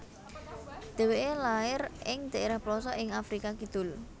Dheweke lair ing dhaerah plosok ing Afrika Kidul